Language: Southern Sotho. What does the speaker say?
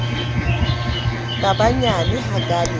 ka ba nyane hakae e